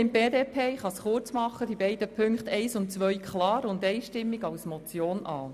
Deshalb nimmt die BDP Punkt 1 und 2 klar und einstimmig als Motion an.